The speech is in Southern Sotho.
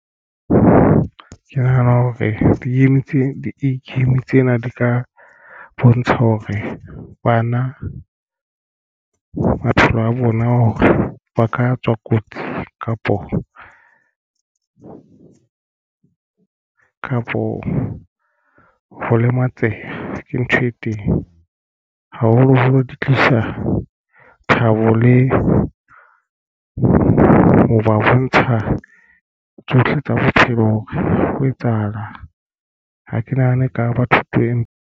Ke nahana hore di-game tse di-game tsena di ka bontsha hore bana maphelo a bona hore ba ka tswa kotsi kapo kapo ho lematseha ke ntho e teng haholoholo di tlisa thabo le ho ba bontsha tsohle tsa bophelo. Hore ho etsahalang ha ke nahane ka ba thuto empa.